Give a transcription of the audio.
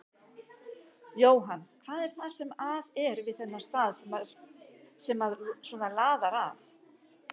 Jóhann: Hvað er það sem að er við þennan stað sem að svona laðar að?